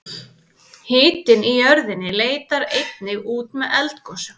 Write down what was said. hitinn í jörðinni leitar einnig út með eldgosum